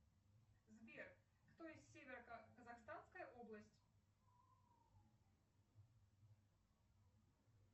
сбер кто из северо казахстанская область